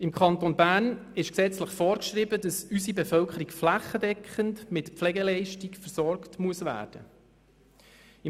In Kanton Bern ist gesetzlich vorgeschrieben, dass unsere Bevölkerung flächendeckend mit Pflegeleistungen versorgt werden muss.